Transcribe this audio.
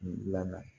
Dilanna